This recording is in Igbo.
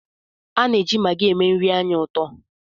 A na-eji magị eme nri anyị ụtọ